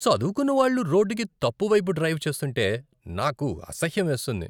చదువుకున్నవాళ్ళు రోడ్డుకి తప్పువైపు డ్రైవ్ చేస్తుంటే నాకు అసహ్యం వేస్తుంది.